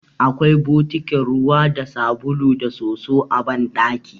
Akwai bokitin ruwa da sabulu da soso a banɗaki.